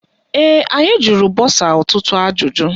Ee, anyị jụrụ bọsa ọtụtụ ajụjụ.